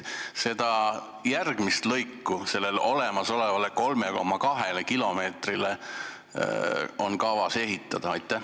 Mitu kilomeetrit lisaks olemasolevale 3,2 kilomeetrile on kavas ehitada?